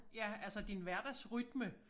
Ja altså din hverdagsrytme